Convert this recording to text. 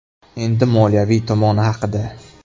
Endi moliyaviy tomoni haqida.